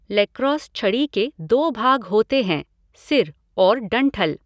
Lacrosse छड़ी के दो भाग होते हैं, सिर और डंठल।